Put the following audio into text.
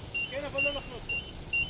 Yenə bağlıdır?